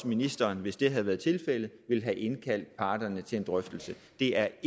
ministeren hvis det havde været tilfældet ville have indkaldt parterne til en drøftelse det er